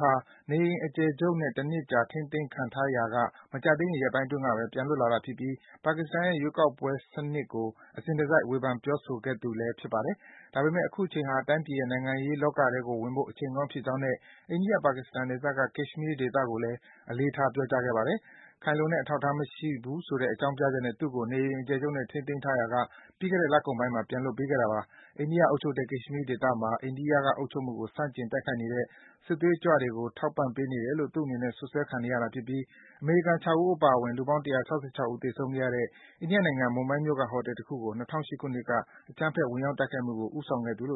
ဟာ နေအိမ် အကျယ်ချုပ်နဲ့ တနှစ်ကြာ ထိန်းသိမ်းခံထားရာက မကြာသေးခင် ရက်ပိုင်းအတွင်းကဘဲ ပြန်လွတ်လာတာဖြစ်ပြီး ပါကစ္စတန်ရဲ့ ရွေးကောက်ပွဲ စံနစ်ကို အစဉ်တစိုက် ဝေဖန် ပြောဆိုနေခဲ့သူလည်း ဖြစ်ပါတယ်။ ဒါပေမယ့် အခုချိန်ဟာ တိုင်းပြည်ရဲ့ နိုင်ငံရေးလောကထဲကို ဝင်ဖို့ အချိန်ကောင်းဖြစ်ကြောင်းနဲ့ အိန္ဒိယ-ပါကစ္စတန် နယ်စပ်က Kashmir ဒေသကိစ္စကိုလည်း အလေးထား ပြောကြားခဲ့ပါတယ်။ ခိုင်လုံတဲ့ အထောက်အထားမရှိဘူးဆိုတဲ့ အကြောင်းပြချက်နဲ့ သူ့ကို နေအိမ်အကျယ်နဲ့ ထိန်းသိမ်းထားရာက ပြီးခဲ့တဲ့ လကုန်ပိုင်းမှာ ပြန်လွတ်ပေးခဲ့တာ ဖြစ်ပါတယ်။ အိန္ဒိယအုပ်ချုပ်တဲ့ Kashmir ဒေသမှာ အိန္ဒိယအုပ်ချုပ်မှုကို ဆန့်ကျင် တိုက်ခိုက်နေတဲ့ စစ်သွေးကြွ အဖွဲ့တွေကို ထောက်ပံ့ပေးနေတယ်လို့ သူ့အနေနဲ့ စွပ်စွဲခံနေရတာ ဖြစ်ပြီး အမေရိကန် ၆ ဦးအပါအဝင် လူပေါင်း ၁၆၆ ဦး သေဆုံးခဲ့ရတဲ့ အိန္ဒိယနိုင်ငံ Mumbai မြို့က ဟိုတယ်တခုကို ၂၀၀၈ ခုနှစ်က အကြမ်းဖက် ဝင်ရောက် တိုက်ခိုက်ကို ဦးဆောင်ခဲ့သူလို့